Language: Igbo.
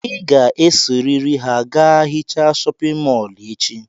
Ị ga-esorịrị ha gaa hichaa chọpịn mọọlụ echi!